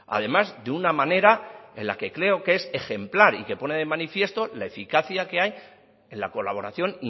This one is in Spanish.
además de una manera de la que creo que es ejemplar y que pone de manifiesto la eficacia que hay en la colaboración